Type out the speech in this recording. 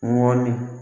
Ŋɔni